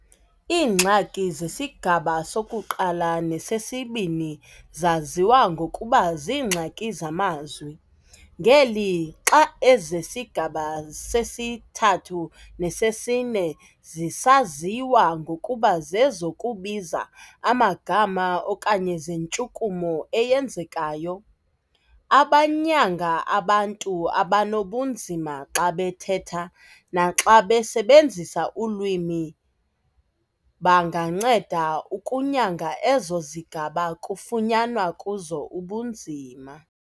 Iingxaki zesigaba soku-1 nesesi-2 zaziwa ngokuba ziingxaki zamazwi, ngeli xa ezesigaba sesi-3 nesesi-4 zisaziwa ngokuba zezokubiza amagama okanye zentshukumo eyenzekayo. Abanyanga abantu abanobunzima xa bethetha naxa besebenzisa ulwimi banganceda ukunyanga ezo zigaba kufunyanwa kuzo ubunzima.